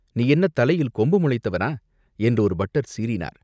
நீ என்ன தலையில் கொம்பு முளைத்தவனா?" என்று ஒரு பட்டர் சீறினார்.